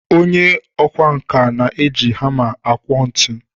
Onye ọkwá nkà na-eji hama akwọ ntu